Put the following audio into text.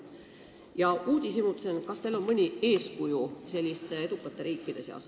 Ka uudishimutsen, kas teil on mõni eeskuju selliste edukate riikide seas.